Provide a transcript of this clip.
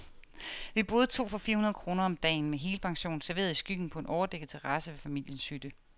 Vi boede to for fire hundrede kroner om dagen, med helpension, serveret i skyggen på en overdækket terrasse ved familiens hytte.